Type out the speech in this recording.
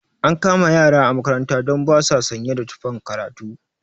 An kama ƴara a makaranta don ba sa sanye da tufan karatu